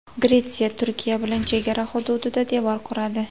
Gretsiya Turkiya bilan chegara hududida devor quradi.